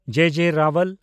ᱡᱮ. ᱡᱮ. ᱨᱟᱣᱟᱞ